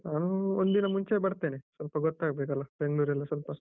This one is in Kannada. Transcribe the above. ನಾನು ಒಂದು ದಿನ ಮುಂಚೆ ಬರ್ತೇನೆ, ಸ್ವಲ್ಪ ಗೊತ್ತಾಗ್ಬೇಕಲ್ಲ ಬೆಂಗ್ಳೂರ್ ಎಲ್ಲ ಸ್ವಲ್ಪ.